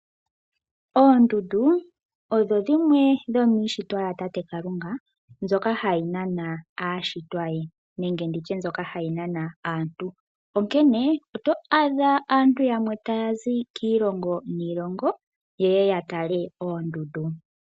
Oondundu odho dhimwe dhomiishitwa yatate Kalunga, mbyoka hayi nana aashitwa ye, nenge nditye mbyoka hayi nana aantu. Onkene, oto adha aantu yamwe taya zi kiilongo niilongo, yeye yatale oondundu.